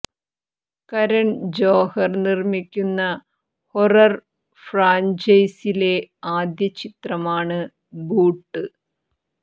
കരൺ ജോഹർ നിർമ്മിക്കുന്ന ഹൊറർ ഫ്രാഞ്ചൈസിയിലെ ആദ്യ ചിത്രമാണ് ബൂട്ട്